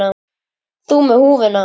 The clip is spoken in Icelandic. Þú með húfu.